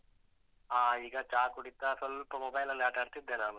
ಹ. ಈಗ ಚಾ ಕುಡೀತಾ ಸ್ವಲ್ಪ mobile ಅಲ್ಲಿ ಆಟ ಆಡ್ತಿದ್ದೆ ನಾನು.